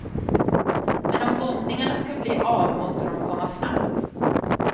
Men om bombningarna skall bli av måste de komma snabbt.